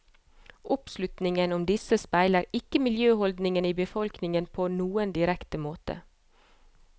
Oppslutningen om disse speiler ikke miljøholdningene i befolkningen på noen direkte måte.